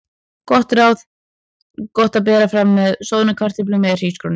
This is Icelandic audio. Gott ráð: Gott að bera fram með soðnum kartöflum eða hrísgrjónum.